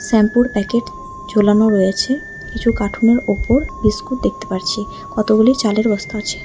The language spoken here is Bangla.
শ্যাম্পু -এর প্যাকেট ঝোলানো রয়েছে কিছু কাটুন উপর বিস্কুট দেখতে পারছি কতগুলি চালের বস্তা আছে।